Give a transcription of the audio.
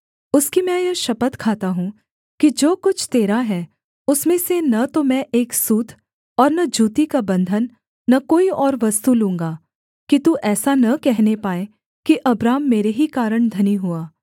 उसकी मैं यह शपथ खाता हूँ कि जो कुछ तेरा है उसमें से न तो मैं एक सूत और न जूती का बन्धन न कोई और वस्तु लूँगा कि तू ऐसा न कहने पाए कि अब्राम मेरे ही कारण धनी हुआ